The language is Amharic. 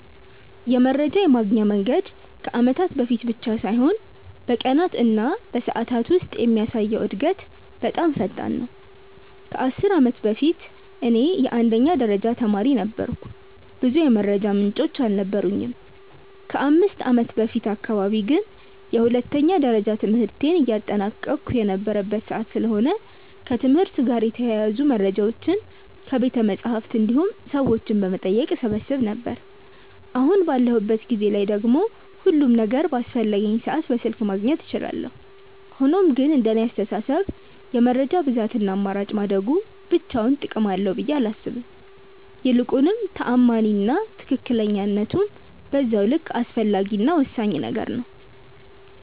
የመረጃ የማግኛ መንገድ ከአመታት በፊት ብቻ ሳይሆን በቀናት እና በሰዓታት ውስጥ የሚያሳየው እድገት በጣም ፈጣን ነው። ከ10 አመት በፊት እኔ የአንደኛ ደረጃ ተማሪ ነበርኩ ብዙ የመረጃ ምንጮች አልነበሩኝም። ከ5ከአመት በፊት አካባቢ ግን የሁለተኛ ደረጃ ትምህርቴን እያጠናቀቅሁ የነበረበት ሰዓት ስለሆነ ከትምህርት ጋር የተያያዙ መረጃዎችን ከቤተመፅሀፍት እንዲሁም ሰዎችን በመጠየቅ እሰበስብ ነበር። አሁን ባለሁበት ጊዜ ላይ ደግሞ ሁሉም ነገር በአስፈለገኝ ሰዓት በስልክ ማግኘት እችላለሁ። ሆኖም ግን እንደኔ አስተሳሰብ የመረጃ ብዛት እና አማራጭ ማደጉ ብቻውን ጥቅም አለው ብዬ አላምንም። ይልቁንም ተአማኒ እና ትክክለኝነቱም በዛው ልክ አስፈላጊ እና ወሳኝ ነገር ነው።